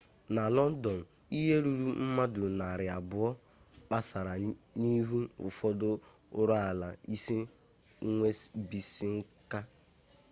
na lọndọn ihe ruru mmadụ narị abụọ kpesara n'ihu ụfọdụ ụlọọrụ isi nwebisiinka